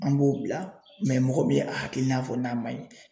An b'o bila mɔgɔ min ye a hakilina fɔ n'a man ɲi